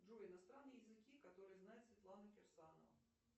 джой иностранные языки которые знает светлана кирсанова